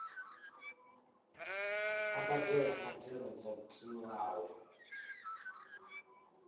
vha badele mbadelo dzo tiwaho